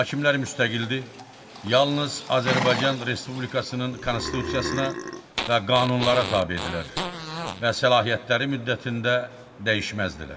Hakimlər müstəqildir, yalnız Azərbaycan Respublikasının Konstitusiyasına və qanunlara tabedirlər və səlahiyyətləri müddətində dəyişməzdilər.